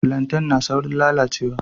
Filantai na saurin lalacewa